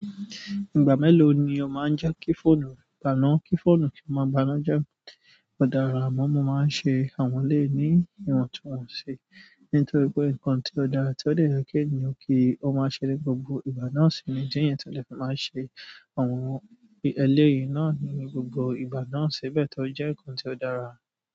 Ìgbà meelo ni o maa n je ki fóònù re gba'na ki fóònù re maa gba'na je. Ó dára amọ́ máa ń ṣe àwọn ẹlẹ́ yìí ní ìwọ̀ntúnwọ̀nsì. Nítorí pé nǹkan tí ó dára tí ó dè je ki ènìyàn kí ó máa ṣẹlẹ̀ gbogbo ìgbà náà sì ni díẹ̀ yẹn tẹ̀lẹ́, máa ṣe àwọn ẹlẹ́ yìí náà ní gbogbo ìgbà náà sì bẹ́ẹ̀ tọ jẹ́ nǹkan tí ó dára.